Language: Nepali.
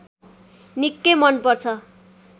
निकै मनपर्छ